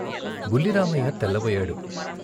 బుల్లి రామయ్య తెల్ల బోయాడు.